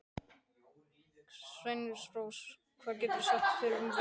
Sveinrós, hvað geturðu sagt mér um veðrið?